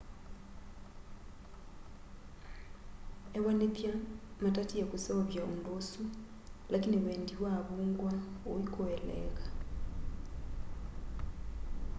ewanĩthya matatĩe kũseũvya ũndũ ũsũ lakĩnĩ wendĩ wa avũngwa ũĩkũeleeka